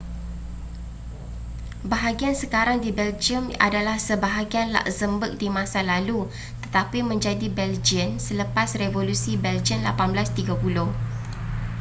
bahagian sekarang di belgium adalah sebahagian luxemboug di masa lalu tetapi menjadi belgian selepas revolusi belgian 1830